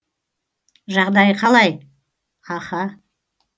жағдайы қалай аха